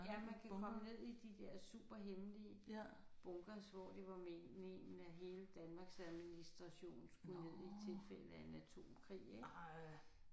Ja man kan komme ned i de der superhemmelige bunkers hvor det var mén ménen at hele Danmarks administration skulle nede i tilfælde af en atomkrig ik